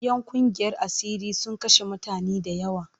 ‘Yan ƙungiyar asiri sun kashe mutane da yawa.